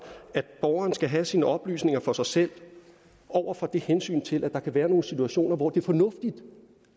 at borgeren skal have sine oplysninger for sig selv over for hensynet til at der kan være nogle situationer hvor det er fornuftigt